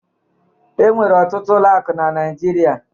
E nwere ọtụtụ ụlọ ụka na Naịjirịa